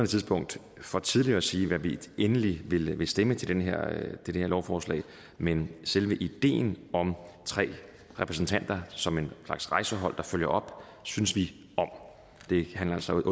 tidspunkt for tidligt at sige hvad vi endeligt vil vil stemme til det her lovforslag men selve ideen om tre repræsentanter som en slags rejsehold der følger op synes vi om det handler altså